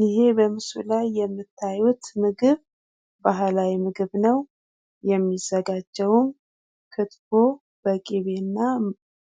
ይህ በምስሉ ላይ የምታዩት ምግብ ባህላዊ ምግብ ነው የሚዘጋጀውም ክትፎ በቂቤ እና